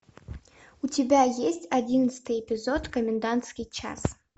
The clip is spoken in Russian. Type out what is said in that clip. у тебя есть одиннадцатый эпизод комендантский час